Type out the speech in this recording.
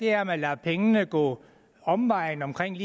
er at man lader pengene gå omvejen omkring